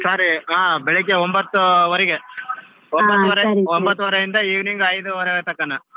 Sorry ಬೆಳಗ್ಗೆ ಒಂಬತ್ತುವರಿಗೆ ಒಂಬತ್ತುವರೆಯಿಂದ evening ಐದುವರೆ ತಕನ.